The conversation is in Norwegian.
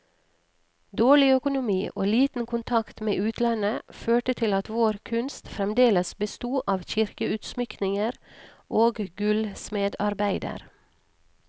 Dårlig økonomi og liten kontakt med utlandet, førte til at vår kunst fremdeles besto av kirkeutsmykninger og gullsmedarbeider.